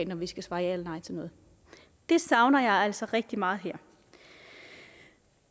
når vi skal svare ja eller nej til noget det savner jeg altså rigtig meget her